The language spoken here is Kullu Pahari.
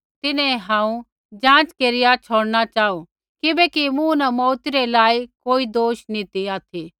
तिन्हैं हांऊँ जाँच केरिया छ़ौड़णा चाहू किबैकि मूँ न मौऊती रै लायक कोई दोष नी ती ऑथि